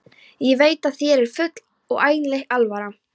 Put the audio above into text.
Ég veit að þér er full og einlæg alvara.